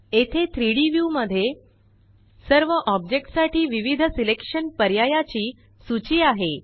येथे 3Dव्यू मध्ये सर्व ओबेक्ट साठी विविध सिलेक्शन पर्यायाची सूची आहे